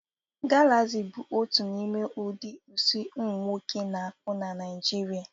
Galaxi bụ otu n'ime ụdị isi ụmụnwoke na-akpu na Naijiria